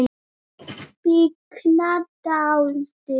Bliknar dáldið.